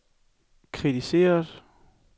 kritiseret